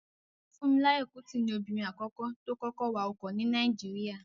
Fúnmiláyọ̀ Kútì ni obìnrin àkọ́kọ́ tó kọ́kọ́ wa ọkọ̀ ní Nàìjíríyà